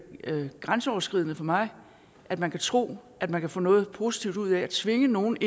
grænseoverskridende for mig at man kan tro at man kan få noget positivt ud af at tvinge nogle